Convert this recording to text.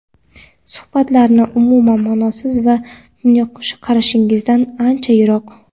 suhbatlari umuman ma’nosiz va dunyoqarashingizdan ancha yiroq.